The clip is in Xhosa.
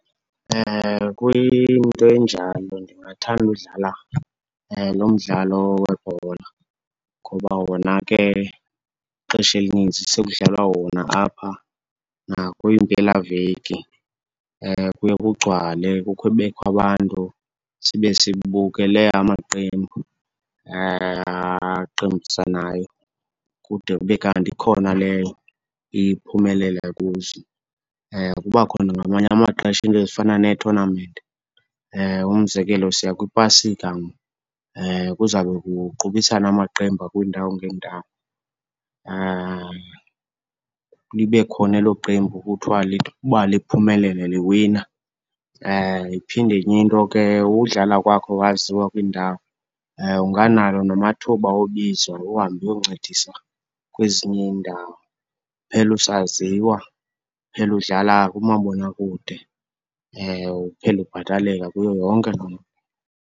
Kwinto enjalo ndingathanda udlala lo mdlalo webhola ngoba wona ke ixesha elininzi sekudlalwa wona apha. Nakwiimpelaveki kuye kugcwale, kukho kubekho abantu sibe sibukele amaqembu aqembusanayo kude kube kanti ikhona leyo iye iphumelele kuzo. Kuba khona ngamanye amaxesha iinto ezifana neethonamenti. Umzekelo, siya kwiPasika, kuzabe kuqubisana amaqembu akwiindawo ngeendawo. Libe khona elo qembu kuthiwa uba liphumelele, liwina. Iphinde enye into ke, udlala kwakho waziwa kwiindawo. Unganalo namathuba obizwa uhambe uyoncedisa kwezinye iindawo, uphele usaziwa, uphele udlala kumabonakude. Uphele ubhataleka kuyo yonke loo nto.